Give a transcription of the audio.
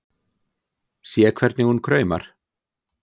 Sé hvernig hún kraumar.